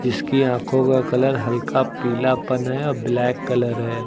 इसकी आंखों का कलर हल्का पीलापन है अ ब्लैक कलर है।